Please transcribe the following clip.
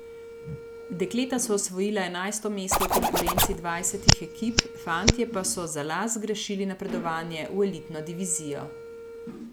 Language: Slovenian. Dekleta so osvojila enajsto mesto v konkurenci dvajsetih ekip, fantje pa so za las zgrešili napredovanje v elitno divizijo.